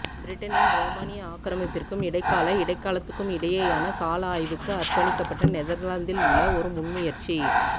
பிரிட்டனின் ரோமானிய ஆக்கிரமிப்பிற்கும் இடைக்கால இடைக்காலத்துக்கும் இடையேயான கால ஆய்வுக்கு அர்ப்பணிக்கப்பட்ட நெதர்லாந்தில் உள்ள ஒரு முன்முயற்சி